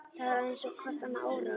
Það var eins og hvert annað óráð.